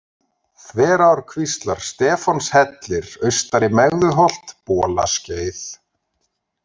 Þverárkvíslar, Stefánshellir, Austari-Megðuholt, Bolaskeið